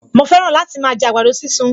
Mo fẹ́ràn láti máa jẹ àgbàdo sísun